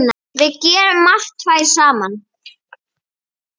Við gerðum margt tvær saman.